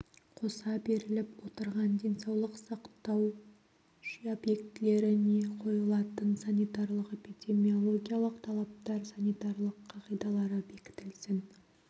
қоса беріліп отырған денсаулық сақтау объектілеріне қойылатын санитариялық-эпидемиологиялық талаптар санитариялық қағидалары бекітілсін